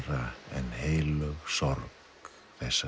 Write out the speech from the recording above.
en heilög sorg þessa